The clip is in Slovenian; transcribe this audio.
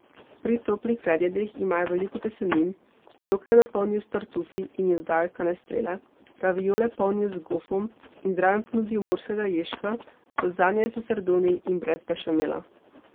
Pri toplih predjedeh imajo veliko testenin, njoke napolnijo s tartufi in jim dodajo kanestrele, raviole polnijo z gofom in zraven ponudijo morskega ježka, lazanja je s sardoni in brez bešamela.